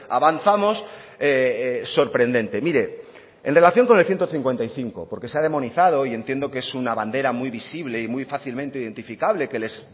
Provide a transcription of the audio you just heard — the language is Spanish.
avanzamos sorprendente mire en relación con el ciento cincuenta y cinco porque se ha demonizado y entiendo que es una bandera muy visible y muy fácilmente identificable que les